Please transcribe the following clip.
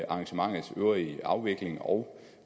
arrangementets øvrige afvikling og